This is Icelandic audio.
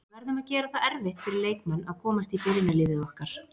Við verðum að gera það erfitt fyrir leikmenn að komast í byrjunarliðið okkar.